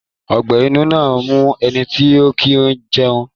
Ọgbẹ́ inú máa ń mu ẹnití ọ̀ kí ń jẹun